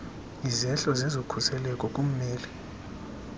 izehlo zezokhuseleko kummeli